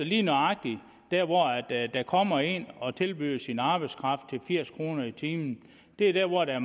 lige nøjagtig der hvor der kommer en og tilbyder sin arbejdskraft til firs kroner i timen er der hvor der